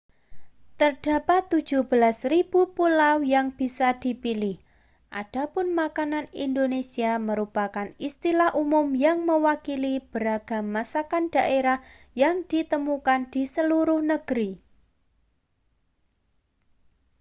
terdapat 17.000 pulau yang bisa dipilih adapun makanan indonesia merupakan istilah umum yang mewakili beragam masakan daerah yang ditemukan di seluruh negeri